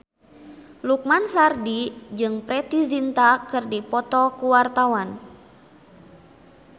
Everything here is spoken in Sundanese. Lukman Sardi jeung Preity Zinta keur dipoto ku wartawan